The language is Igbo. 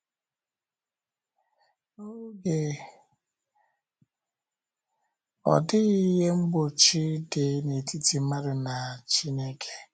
N’oge ahụ, ọ dịghị ihe mgbochi dị n’etiti mmadụ na Chineke.